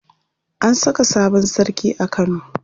An saka sabon sarki a Kano.